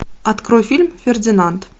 открой фильм фердинанд